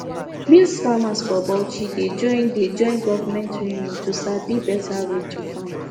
maize farmers for bauchi dey join dey join government training to sabi better way to farm